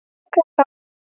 Ókei þá!